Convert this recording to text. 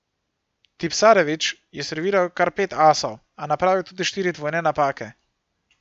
Tipsarević je serviral kar pet asov, a napravil tudi štiri dvojne napake.